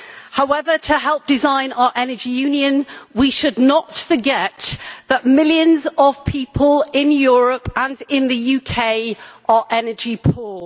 However, to help design our Energy Union, we should not forget that millions of people in Europe and in the UK are energy poor.